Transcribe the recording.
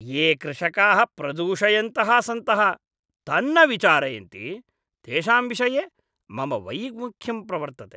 ये कृषकाः प्रदूषयन्तः सन्तः तन्न विचारयन्ति, तेषां विषये मम वैमुख्यं प्रवर्तते।